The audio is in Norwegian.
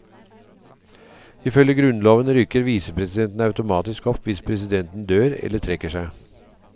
Ifølge grunnloven rykker visepresidenten automatisk opp hvis presidenten dør eller trekker seg.